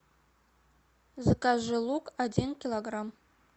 закажи лук один килограмм